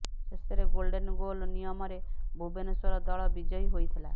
ଶେଷରେ golden goal ନିୟମରେ ଭୁବନେଶ୍ୱର ଦଳ ବିଜୟୀ ହୋଇଥିଲା